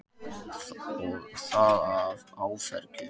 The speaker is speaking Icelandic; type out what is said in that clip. Og það af áfergju.